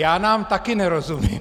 Já nám taky nerozumím.